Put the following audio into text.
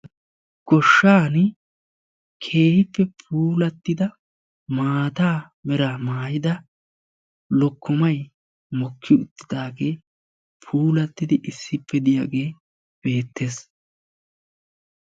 goshaani keehippe puulattida maata mala meraa maayida lokkomay puulatti uttidaagee beetees.